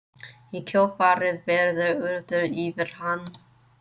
Í kjölfarið verður urðað yfir hann.